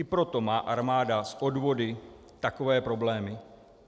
I proto má armáda s odvody takové problémy.